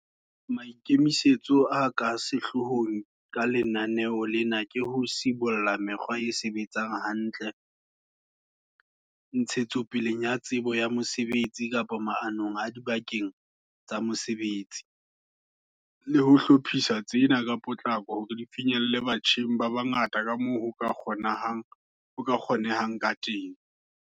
Maikemisetso a ka sehloohong ka lenaneo lena ke ho sibolla mekgwa e sebetsang hantle, ntshetsopeleng ya tsebo ya mosebetsi kapa maanong adibakeng tsa mosebetsi, le ho hlophisa tsena ka potlako hore di finyelle batjheng ba bangata kamoo ho ka kgonehang kateng.